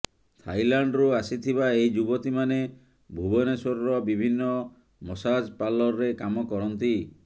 ଥାଇଲାଣ୍ଡରୁ ଆସିଥିବା ଏହି ଯୁବତୀ ମାନେ ଭୁବନେଶ୍ୱରର ବିଭିନ୍ନ ମସାଜ ପାର୍ଲରରେ କାମ କରନ୍ତି